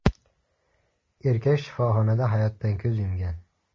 Erkak shifoxonada hayotdan ko‘z yumgan.